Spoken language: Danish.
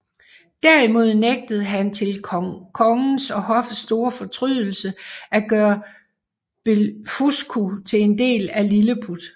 Derimod nægter han til kongens og hoffets store fortrydelse at gøre Blefuscu til en del af Lilleput